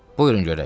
Buyurun görək.